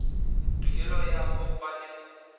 tokelo ya ho ba le